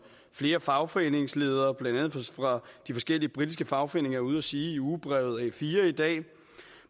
flere fagforeningsledere blandt andet fra de forskellige britiske fagforeninger er ude at sige i ugebrevet a4 i dag